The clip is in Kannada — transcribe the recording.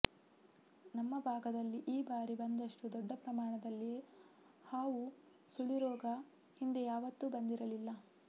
ನಮ್ಮ ಭಾಗದಲ್ಲಿ ಈ ಬಾರಿ ಬಂದಷ್ಟು ದೊಡ್ಡ ಪ್ರಮಾಣದಲ್ಲಿ ಹಾವು ಸುಳಿರೋಗ ಹಿಂದೆ ಯಾವತ್ತೂ ಬಂದಿರಲಿಲ್ಲ